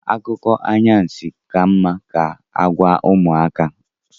Akụkọ anwansi ka mma ka agwa ụmụaka